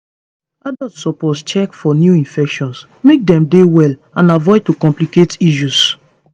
adults suppose check for new infections make dem dey well and avoid to complicate issues